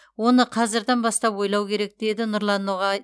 оны қазірдан бастап ойлау керек деді нұрлан ноғай